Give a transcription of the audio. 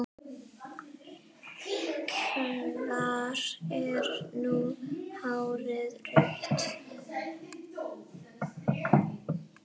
Hvar er nú hárið rauða?